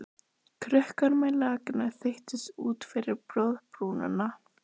Krukkan með lakkinu þeytist út fyrir borðbrúnina.